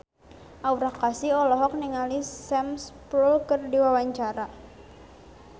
Aura Kasih olohok ningali Sam Spruell keur diwawancara